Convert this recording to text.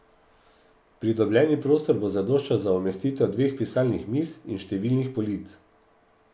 Pridobljeni prostor bo zadoščal za umestitev dveh pisalnih miz in številnih polic.